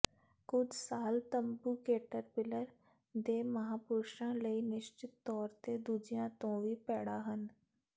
ਕੁਝ ਸਾਲ ਤੰਬੂ ਕੇਟਰਪਿਲਰ ਦੇ ਮਹਾਂਪੁਰਸ਼ਾਂ ਲਈ ਨਿਸ਼ਚਿਤ ਤੌਰ ਤੇ ਦੂਜਿਆਂ ਤੋਂ ਵੀ ਭੈੜੇ ਹਨ